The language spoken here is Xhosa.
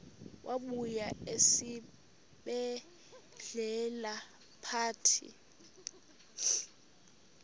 wabuya esibedlela ephethe